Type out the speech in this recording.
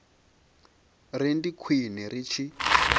ri ndi khwine ri tshi